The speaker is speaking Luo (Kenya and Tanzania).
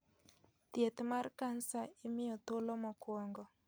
Thieth mar kansa imiyo thuolo mokuongo.